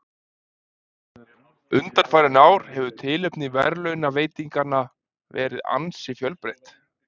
Undanfarin ár hefur tilefni verðlaunaveitinganna verið ansi fjölbreytt.